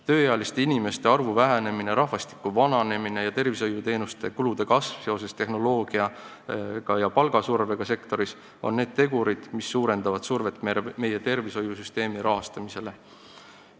Tööealiste inimeste arvu vähenemine, rahvastiku vananemine ja tervishoiuteenuste kulude kasv seoses tehnoloogia arenguga ja palgasurvega sektoris on need tegurid, mis suurendavad survet meie tervishoiusüsteemi rahastamisele.